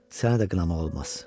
Sənə də qınamaq olmaz.